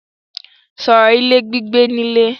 Sọ̀rọ̀ ilé gbígbé nílé!